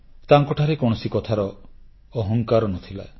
ତାଙ୍କଠାରେ କୌଣସି କଥାର ଅହଙ୍କାର ନ ଥିଲା